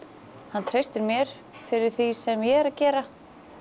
hann treystir mér fyrir því sem ég er að gera